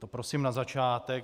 To prosím na začátek.